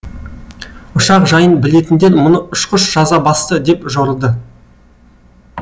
ұшақ жайын білетіндер мұны ұшқыш жаза басты деп жорыды